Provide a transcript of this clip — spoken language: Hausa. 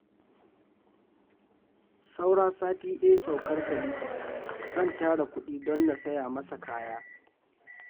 Saura sati ɗaya saukar Khalifa, zan tara kuɗi don na saya masa kaya